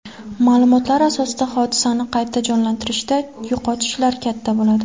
Ma’lumotlar asosida hodisani qayta jonlantirishda yo‘qotishlar katta bo‘ladi.